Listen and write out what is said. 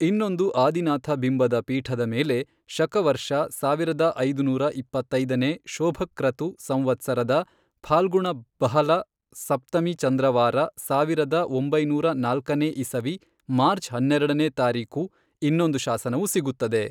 ಇನ್ನೊಂದು ಆದಿನಾಥ ಬಿಂಬದ ಪೀಠದ ಮೇಲೆ, ಶಕವರ್ಷ ಸಾವಿರದ ಐದುನೂರ ಇಪ್ಪತ್ತೈದನೇ ಶೋಭಕ್ರತು ಸಂವತ್ಸರದ ಫಾಲ್ಗುಣ ಬಃಲ ಸಪ್ತಮಿ ಚಂದ್ರವಾರ ಸಾವಿರದ ಒಂಬೈನೂರ ನಾಲ್ಕನೇ ಇಸವಿ ಮಾರ್ಚ್ ಹನ್ನೆರಡನೇ ತಾರೀಕು ಇನ್ನೊಂದು ಶಾಸನವು ಸಿಗುತ್ತದೆ.